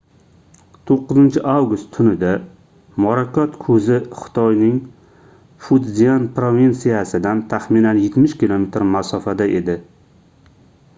9-avgust tunida morakot koʻzi xitoyning futzyan provinsiyasidan taxminan yetmish kilometr masofada edi